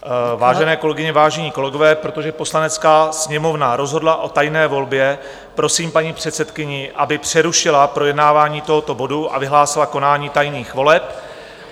Vážené kolegyně, vážení kolegové, protože Poslanecká sněmovna rozhodla o tajné volbě, prosím paní předsedkyni, aby přerušila projednávání tohoto bodu a vyhlásila konání tajných voleb.